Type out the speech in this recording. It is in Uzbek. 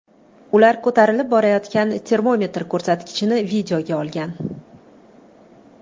Ular ko‘tarilib borayotgan termometr ko‘rsatkichini videoga olgan.